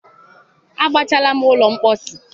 agbachaala m ụlọ mposi.